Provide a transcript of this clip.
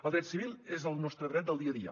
el dret civil és el nostre dret del dia a dia